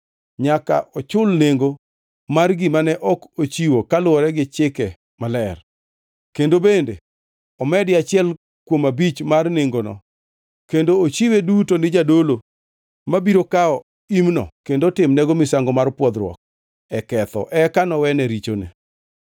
Nyaka ochul nengo mar gima ne ok ochiwo kaluwore gi chike maler, kendo bende omedi achiel kuom abich mar nengono kendo ochiwe duto ne jadolo, mabiro kawo imno kendo otimnego misango mar pwodhruok e ketho eka nowene richone.